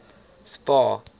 spar